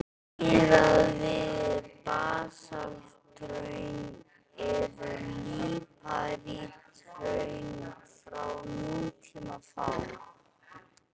Miðað við basalthraun eru líparíthraun frá nútíma fá.